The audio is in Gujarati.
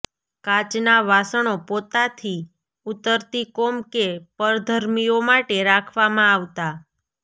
કાચના વાસણો પોતાથી ઉતરતી કોમ કે પરધર્મીઓ માટે રાખવામાં આવતા